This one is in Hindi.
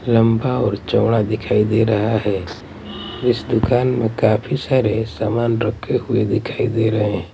लंबा और चौड़ा दिखाई दे रहा है इस दुकान में काफी सारे सामान रखे हुए दिखाई दे रहे हैं।